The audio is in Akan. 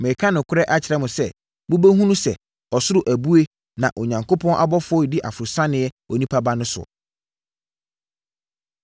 Mereka nokorɛ akyerɛ mo sɛ, mobɛhunu sɛ ɔsoro abue na Onyankopɔn abɔfoɔ redi aforosiane Onipa Ba no soɔ.”